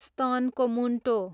स्तनको मुन्टो